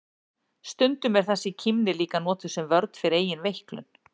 Stundum er þessi kímni líka notuð sem vörn fyrir eigin veiklun.